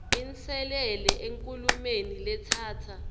inselele enkhulumeni letsatsa